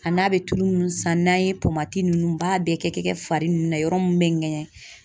A n'a bɛ tulu mun san n'an ye tomati ninnu b'a bɛɛ kɛ fari ninnu na yɔrɔ mun bɛ ŋɛɲɛ